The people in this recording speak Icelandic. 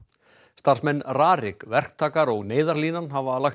starfsmenn RARIK verktakar og Neyðarlínan hafa lagt